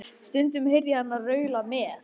Stundum heyrði ég hana raula með